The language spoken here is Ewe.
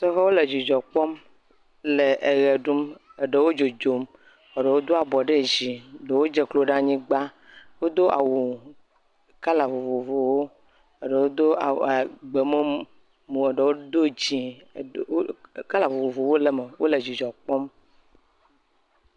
Sɔhɛwo le dzidzɔ kpɔm le eɣe ɖum, ɖewo dzodzom. Eɖewo Do abo ɖe dzi, eɖe dze klo ɖe anyigba. Wodo awu kola vovovowo, eɖewo do awu gbemumu, eɖewo do dzɛ, kola vovovowo le eme. Wòle dzidzɔ kpɔm.